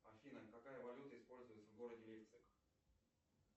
афина какая валюта используется в городе лейпциг